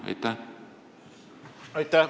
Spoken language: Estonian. Aitäh!